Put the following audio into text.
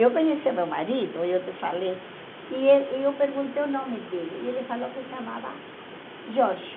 Eu conhecia meu marido, eu te falei, e eu e eu perguntei o nome dele, e ele falou que se chamava Jorge.